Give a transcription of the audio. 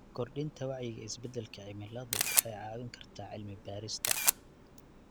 Kordhinta wacyiga isbedelka cimiladu waxay caawin kartaa cilmi baarista.